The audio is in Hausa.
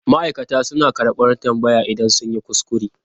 Ma'aikata suna karɓar tambaya idan sun yi kuskure.